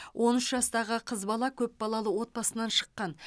он үш жастағы қыз бала көпбалалы отбасынан шыққан